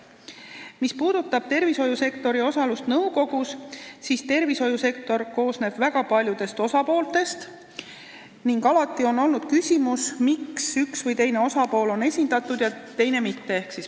Mis puudutab tervishoiusektori osalust nõukogus, siis tervishoiusektor koosneb väga paljudest osapooltest ning alati on olnud küsimus, miks üks või teine osapool on nõukogus esindatud ja mõni mitte.